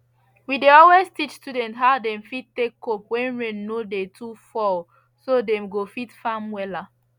we dey always teach students how dem fit take cope when rain no dey too fall so dem go fit farm wella